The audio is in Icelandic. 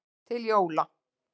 Til Jóa.